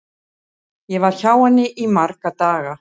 Ég var hjá henni í marga daga.